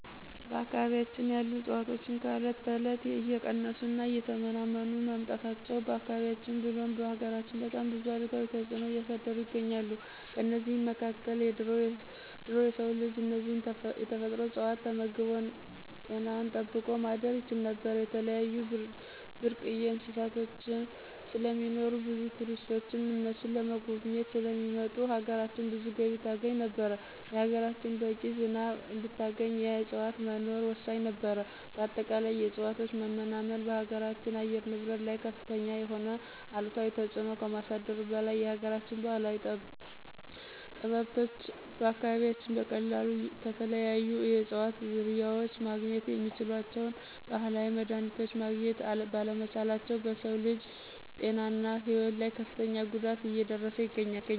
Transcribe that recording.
በአካባቢያችን ያሉ እፅዋቶች ከእለት እለት እየቀነሱ እና እየተመናመኑ መምጣታቸው በአካባቢያችን ብሎም በሀገራችን በጣም ብዙ አሉታዊ ተጽዕኖ እያሳደሩ ይገኛሉ። ከእነዚህም መካከል ድሮ የሰው ልጅ እነዚህን የተፈጥሮ እጽዋቶች ተመግቦ ጤናውን ጠብቆ ማደር ይችል ነበር፣ የተለያዩ ብርቅዬ እንስሳቶች ስለሚኖሩ ብዙ ቱሪስቶች እነሱን ለመጎብኘት ስለሚመጡ ሀገራችን ብዙ ገቢ ታገኝ ነበር፣ ሀገራችን በቂ ዝናብ እንድታገኝ የእጽዋት መኖር ወሳኝ ነበር በአጠቃላይ የእጽዋቶች መመናመን በሀገራችን አየር ንብረት ላይ ከፍተኛ የሆነ አሉታዊ ተጽዕኖ ከማሳደሩ በላይ የሀገራችን ባህላዊ ጠበብቶች በአካባቢያችን በቀላሉ ከተለያዩ የእጽዋት ዝርያዎች ማግኘት የሚችሏቸውን ባህላዊ መድሀኒቶች ማግኘት ባለመቻላቸው በሰው ልጅ ጤናና ህይወት ላይ ከፍተኛ ጉዳት እየደረሰ ይገኛል።